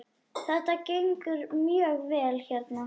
Þetta gengur mjög vel hérna.